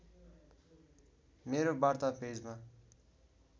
मेरो वार्ता पेजमा